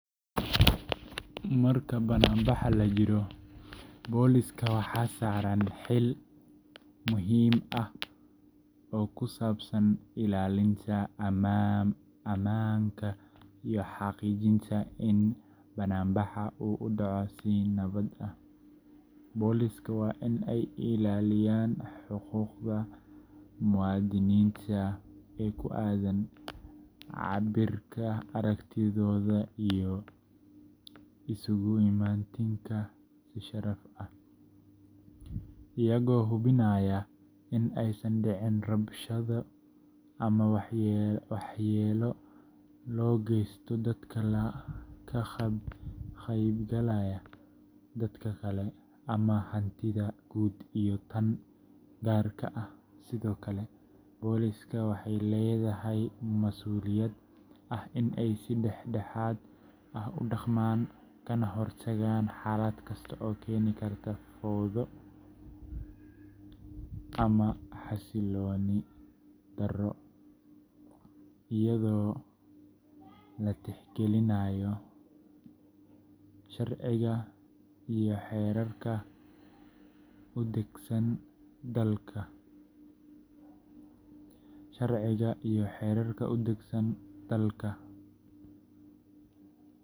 Marka bannaanbax la jiro, booliska waxaa saaran xil muhiim ah oo ku saabsan ilaalinta ammaanka iyo xaqiijinta in bannaanbaxa uu u dhaco si nabad ah. Boolisku waa in ay ilaaliyaan xuquuqda muwaadiniinta ee ku aaddan cabbirka aragtidooda iyo isugu imaatinka si sharci ah, iyagoo hubinaya in aysan dhicin rabshado ama waxyeello loo geysto dadka ka qaybgalaya, dadka kale, ama hantida guud iyo tan gaarka ah. Sidoo kale, booliska waxay leedahay masuuliyad ah in ay si dhexdhexaad ah u dhaqmaan, kana hortagaan xaalad kasta oo keeni karta fawdo ama xasilooni darro, iyadoo la tixgelinayo sharciga iyo xeerarka u degsan dalka.